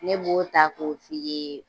Ne b'o ta ko f'i ye